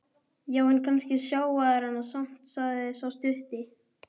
Já, en kannski sjá þeir hana samt, sagði sá stutti.